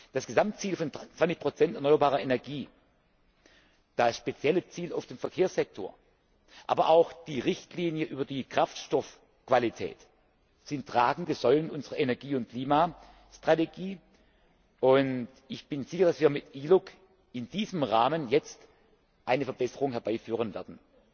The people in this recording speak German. Das Gesamtziel von 20 erneuerbarer Energie, das spezielle Ziel für den Verkehrssektor, aber auch die Richtlinie über die Kraftstoffqualität sind tragende Säulen unserer Energie und Klimastrategie, und ich bin sicher, dass wir mit ILUC in diesem Rahmen jetzt eine Verbesserung herbeiführen werden.